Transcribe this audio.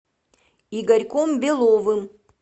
игорьком беловым